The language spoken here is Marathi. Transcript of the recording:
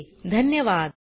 सहभागासाठी धन्यवाद